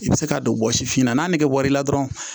I bɛ se k'a don bɔ sifinna n'a nɛgɛ wɔri la dɔrɔn